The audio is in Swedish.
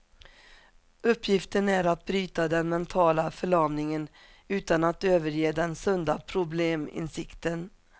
Uppgiften är att bryta den mentala förlamningen utan att överge den sunda probleminsikten.